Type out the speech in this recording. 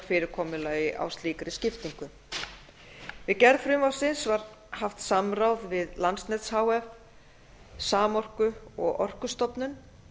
fyrirkomulagi á slíkri skiptingu við gerð frumvarpsins var haft samráð við landsnet h f samorku og orkustofnun